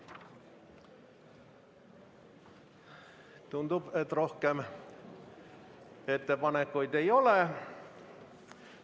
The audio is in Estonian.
Tundub, et rohkem ettepanekuid ei ole.